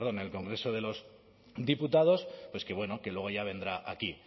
en el congreso de los diputados pues que luego ya vendrá aquí